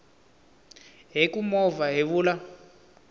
hi ku movha hi vula